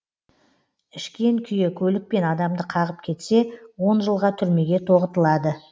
ішкен күйі көлікпен адамды қағып кетсе он жылға түрмеге тоғытылады